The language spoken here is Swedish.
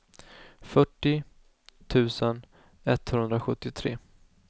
fyrtio tusen etthundrasjuttiotre